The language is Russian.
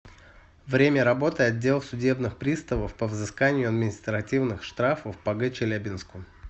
время работы отдел судебных приставов по взысканию административных штрафов по г челябинску